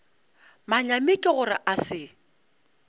manyami ke gore a se